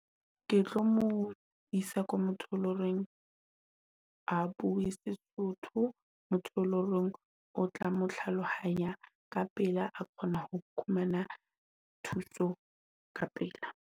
Ke tlo mo isa ko motho e loreng ha bue seSotho. Motho e lo reng o tla mo tlhalohanya ka pela a kgona ho fumana thuso ka pela.